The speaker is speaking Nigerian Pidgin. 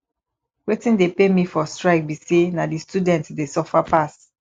wetin dey pain me for strike be say na the students dey suffer pass